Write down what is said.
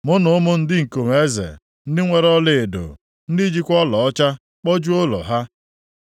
mụ na ụmụ ndị ikom eze, ndị nwere ọlaedo, ndị jikwa ọlaọcha kpojuo ụlọ ha.